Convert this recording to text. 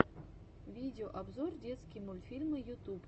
видеообзор детские мультьфильмы ютуб